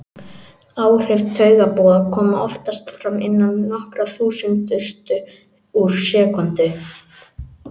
Áhrif taugaboða koma oftast fram innan nokkurra þúsundustu úr sekúndu.